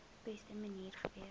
beste manier gewees